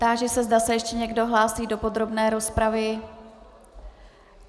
Táži se, zda se ještě někdo hlásí do podrobné rozpravy.